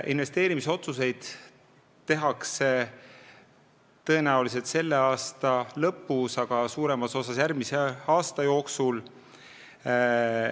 Investeerimisotsused tehakse tõenäoliselt selle aasta lõpus, aga suuremas osas järgmise aasta jooksul.